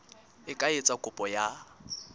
e ka etsa kopo ya